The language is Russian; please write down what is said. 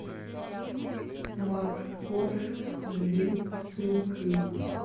макс корж жги сын клип